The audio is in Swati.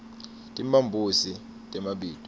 timphambosi temabito